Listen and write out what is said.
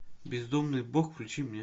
бездумный бог включи мне